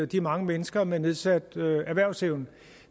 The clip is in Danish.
de mange mennesker med nedsat erhvervsevne